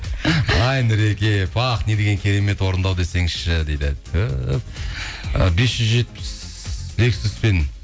ай нұреке пах не деген керемет орындау десеңші дейді түһ ы бес жүз жетпіс лексуспен